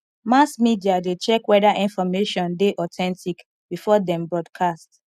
mass media de check whether information de authentic before dem broadcast